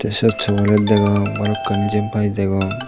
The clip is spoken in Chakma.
siot sogolech degong balokkani jiyenpai degong.